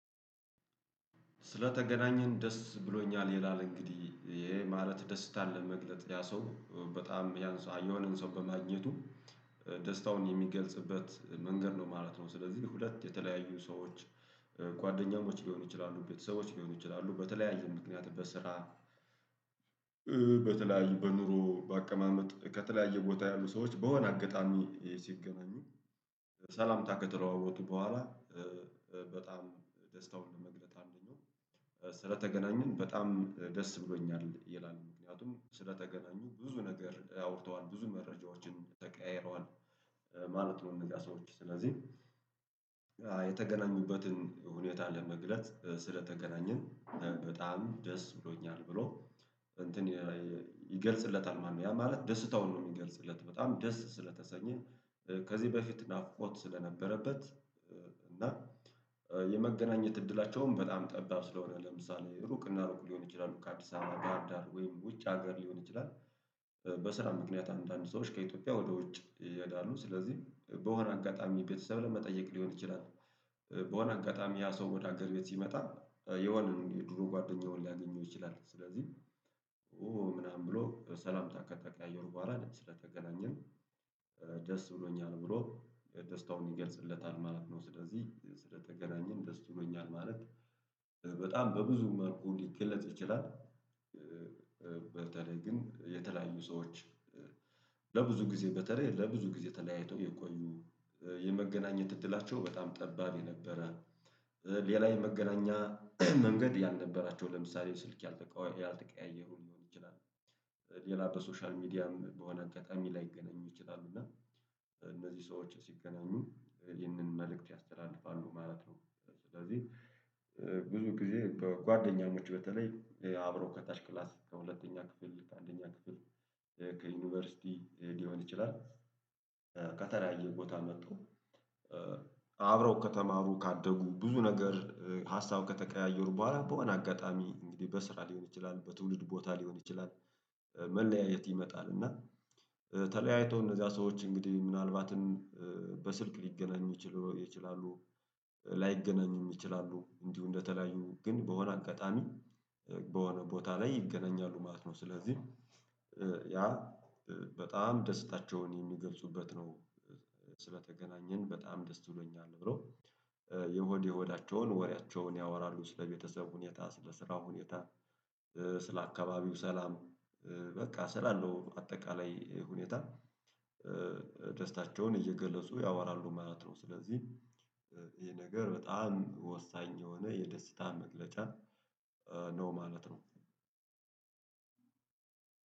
ስለተገናኘን ደስ ብሎኛል ይላል እንግዲህ ይሄ ማለት ደስታን ለመግለጥ ያ ሰው በጣም ያን ያንን ሰው በማግኘቱ ደስታውን የሚገልጽበት መንገድ ነው ማለት ነው። ስለዚህ ሁለት የተለያዩ ሰዎች ጓደኛሞች ሊሆኑ ይችላሉ ቤተሰቦች ሊሆኑ ይችላሉ በተለያዩ ምክንያት በስራ። በተለያዩ በኑሮ በአቀማመጥ ከተለያየ ቦታ ያሉ ሰዎች በሆነ አጋጣሚ ሲገናኙ ሰላምታ ከተለዋወጡ በኋላ። በጣም ደስታውን ለመግለጥ አንደኛው ስለተገናኘን በጣም ደስ ብሎኛል ይላል ምክንያቱም ስለተገናኙ ብዙ ነገር አውርተዋል ብዙ መረጃዎችን ተቀያይረዋል። ማለት ነው እነዚያ ሰዎች ስለዚህ የተገናኙበትን ሁኔታ ለመግለጽ ስለተገናኘን በጣም ደስ ብሎኛል ብሎ እንትን ይገልጽለታል ማለት ነው። ያ ማለት ደስታውን ነው የሚገልጽለት በጣም ደስ ስለተሰኘ ከዚህ በፊት ናፍቆት ስለነበረበት። እና የመገናኘት እድላቸውም በጣም ጠባብ ስለሆነ ለምሳሌ ሩቅ እና ሩቅ ሊሆን ይችላል ውስጥ ከአዲስ አበባ ባህርዳር ወይም ውጭ ሀገር ሊሆን ይችላል። በስራ ምክንያት አንዳንድ ሰዎች ከኢትዮጵያ ወደ ውጭ ይሄዳሉ ስለዚህ በሆነ አጋጣሚ ቤተሰብ ለመጠየቅ ሊሆን ይችላል። በሆነ አጋጣሚ ያ ሰው ወደ ሀገር ቤት ሲመጣ የሆነ የድሮ ጓደኛውን ሊያገኘው ይችላል ስለዚህ። ኦ ምናምን ብሎ ሰላምታ ከተቀያየሩ በኋላ ላይ ስለተገናኘን ደስ ብሎኛል ብሎ ደስታውን ይገልጽለታል ማለት ነው። ስለዚህ ስለተገናኘን ደስ ብሎኛል ማለት በጣም በብዙ መልኩ ሊገለጽ ይችላል። በተለይ ግን የተለያዩ ሰዎች ለብዙ ጊዜ በተለይ ለብዙ ጊዜ ተለያይተው የቆዩ የመገናኘት እድላቸው በጣም ጠባብ የነበረ ሌላ የመገናኛ መንገድ ያልነበራቸው ለምሳሌ ስልክ ያ ያልተቀያየሩ ሊሆን ይችላል። ሌላ በሶሻል ሚዲያም በሆነ አጋጣሚ ላይገናኙ ይችላሉ እና ሰዎች ሲገናኙ ይህንን መልእክት ያስተላልፋሉ ማለት ነው። ስለዚህ ብዙ ጊዜ በጓደኛሞች በተለይ አብሮ ከታች ክላስ ከሁለተኛ ክፍል ከአንደኛ ክፍል ከዩኒቨርሲቲ ሊሆን ይችላል። ከተለያየ ቦታ መጠው አብረው ከተማሩ ካደጉ ብዙ ነገር ሀሳብ ከተቀያየሩ በኋላ በሆነ አጋጣሚ እንግዲህ በስራ ሊሆን ይችላል በትውልድ ቦታ ሊሆን ይችላል። መለያየት ይመጣል እና ተለያይቶ እነዚያ ሰዎች እንግዲህ ምናልባትም በስልክ ሊገናኙ ይ ይችላሉ ላይገናኙም ይችላሉ እንዲሁ እንደተለያዩ ግን በሆነ አጋጣሚ በሆነ ቦታ ላይ ይገናኛሉ ማለት ነው። ስለዚህ ያ በጣም ደስታቸውን የሚገብጹበት ነው። ስለተገናኘን በጣም ደስ ብሎኛል ብለው የሆዴ የሆዳቸውን ወሬያቸውን ያወራሉ ስለ ቤተሰብ ሁኔታ ስለ ስራው ሁኔታ ስለ አካባቢው ሰላም በቃ ስላለው አጠቃላይ ሁኔታ ደስታቸውን እየገለጹ ያወራሉ ማለት ነው። ስለዚህ ይሄ ነገር በጣም ወሳኝ የሆነ የደስታ መግለጫ ነው ማለት ነው።